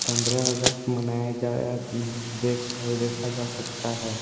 पन्द्रा अगस्त मनाया जाया अम्म देख अ देखा जा सकता है।